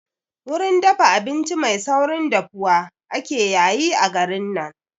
Wurin dafa abinci mai saurin dafuwa ake yayi a garin nan